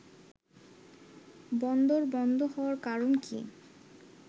“বন্দর বন্ধ হওয়ার কারণ কি